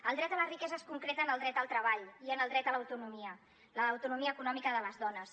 el dret a la riquesa es concreta en el dret al treball i en el dret a l’autonomia a l’autonomia econòmica de les dones